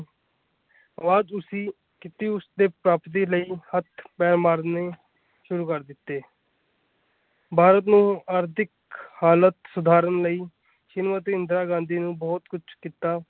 ਬਾਅਦ ਵਿੱਚ ਤੁਸੀਂ ਉਸਦੀ ਪ੍ਰਾਪਤੀ ਲਈ ਹੱਥ-ਪੈਰ ਮਾਰਨੇ ਸ਼ੁਰੂ ਕਰ ਦਿੱਤੇ ਭਾਰਤ ਨੂੰ ਆਰਥਿਕ ਹਾਲਤ ਸੁਧਾਰਨ ਲਈ ਸ਼੍ਰੀਮਤੀ ਇੰਦਰਾ ਗਾਂਧੀ ਨੇ ਬਹੁਤ ਕੁੱਛ ਕੀਤਾ।